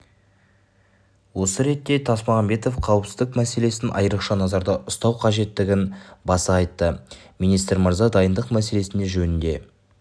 осы ретте тасмағамбетов қауіпсіздік мәселесін айрықша назарда ұстау қажеттігін баса айтты министр мырза дайындық мәселесі жөнінде